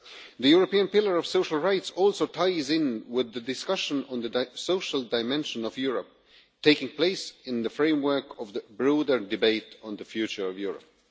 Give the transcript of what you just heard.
The European Pillar of Social Rights also ties in with the discussion on the social dimension of Europe taking place in the framework of the broader debate on the future of Europe.